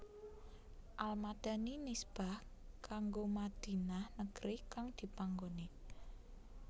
Al Madani nisbah kanggo Madinah negri kang dipanggoni